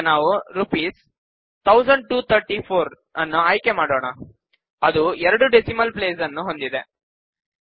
ಈಗ ನಾವು ರೂ123400 ನ್ನು ಆಯ್ಕೆ ಮಾಡೋಣಅದು ಎರಡು ಡೆಸಿಮಲ್ ಪ್ಲೇಸ್ ನ್ನು ಹೊಂದಿದೆ